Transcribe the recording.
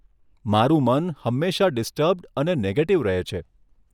મારુ મન હંમેશા ડિસ્ટર્બ્ડ અને નેગેટિવ રહે છે.